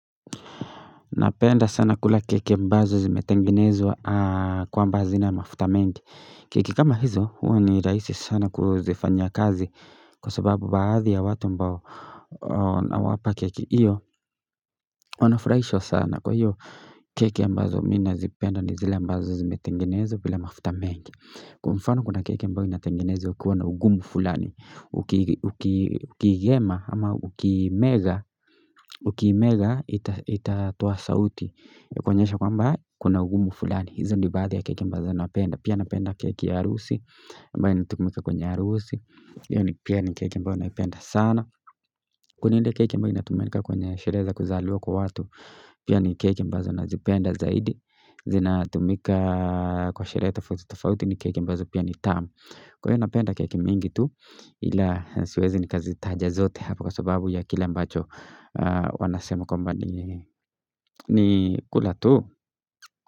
Napenda sana kula keke mbazo zimetengenezwa kwa mbazo zina mafuta mengi. Kiki kama hizo, huo ni raisi sana kuzifanya kazi kwa sababu baadhi ya watu mbao na wapa keki. Iyo, wanafuraisho sana kwa hiyo keke mbazo mina zipenda ni zile mbazo zimetengenezwa vila mafuta mengi. Kwa mfano kuna keke mbazo zimetengenezwa, ukiwana ugumu fulani, ukiigema ama ukiimega, ukiimega itatua sauti. Kwenyesha kwa mba kuna ugumu fulani hizo ndibadhi ya kekembazo na apenda pia napenda keke ya arusi mba inatumika kwenye arusi yoni pia ni kekembazo na apenda sana kuninde kekembazo inatumika kwenye shereza kuzalua kwa watu pia ni kekembazo na zipenda zaidi zinatumika kwa shereza fuzi tofauti ni kekembazo pia ni tam kwenye napenda keke mingi tu ila siwezi ni kazi tajazote hapa kwa sababu ya kile mbacho wanasema kumbani ni kula tu.